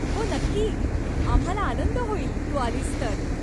हो नक्की, आम्हाला आनंद होईल तू आलीस तर.